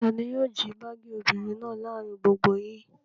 Ta ni yóò jí báágì obìnrin náà láàárin gbogbo yín?